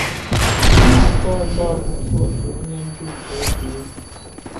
Ihe atụ ọzọ bụ nke otu onye ndu nke otu egwu